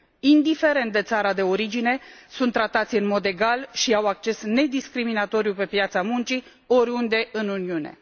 indiferent de țara de origine, sunt tratați în mod egal și au acces nediscriminatoriu pe piața muncii, oriunde în Uniune.